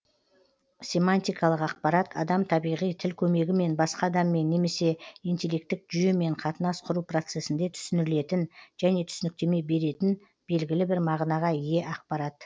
семантикалық ақпарат адам табиғи тіл көмегімен басқа адаммен немесе интеллектілік жүйемен қатынас құру процесінде түсінілетін және түсініктеме беретін белгілі бір мағынаға ие ақпарат